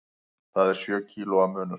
Það er sjö kílóa munur.